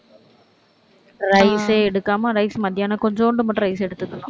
rice ஏ எடுக்காம rice மத்தியானம் கொஞ்சுண்டு மட்டும் rice எடுத்துக்கணும்